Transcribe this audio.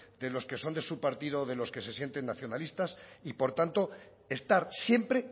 de los que son de su partido de los que se sienten nacionalistas y por tanto estar siempre